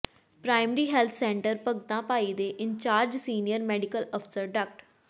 primary health centre Bhagta Bhai ਦੇ incharge senior medical ਅਫਸਰ ਡਾ